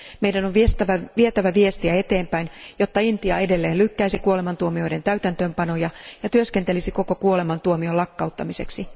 Meidän on vietävä viestiä eteenpäin, jotta Intia edelleen lykkäisi kuolemantuomioiden täytäntöönpanoja ja työskentelisi koko kuolemantuomion lakkauttamiseksi.